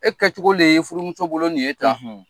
E kɛcogo de ye nin ye furumuso bolo nin ye tan